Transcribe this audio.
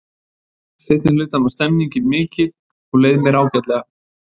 Seinni hlutann var stemningin mikil og leið mér ágætlega.